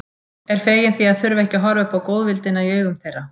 Er fegin því að þurfa ekki að horfa upp á góðvildina í augum þeirra.